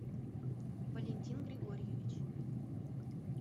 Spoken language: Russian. валентин григорьевич